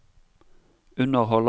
underholder